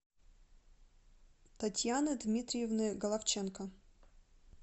татьяны дмитриевны головченко